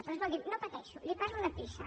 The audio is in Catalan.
però escolti’m no pateixo li parlo de pisa